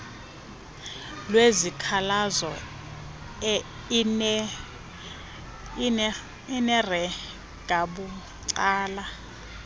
lwezikhalazo iner engakunceda